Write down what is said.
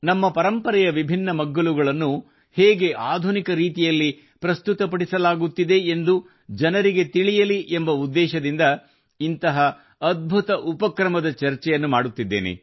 ನಮ್ಮ ಪರಂಪರೆಯ ವಿಭಿನ್ನ ಮಗ್ಗಲುಗಳನ್ನು ಹೇಗೆ ಆಧುನಿಕ ರೀತಿಯಲ್ಲಿ ಪ್ರಸ್ತುತಪಡಿಸಲಾಗುತ್ತಿದೆ ಎಂದು ಜನರಿಗೆ ತಿಳಿಯಲಿ ಎಂಬ ಉದ್ದೇಶದಿಂದ ಇಂಥ ಅದ್ಭುತ ಉಪಕ್ರಮದ ಚರ್ಚೆಯನ್ನು ಮಾಡುತ್ತಿದ್ದೇನೆ